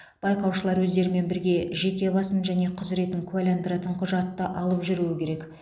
байқаушылар өздерімен бірге жеке басын және құзыретін куәландыратын құжатты алып жүруі керек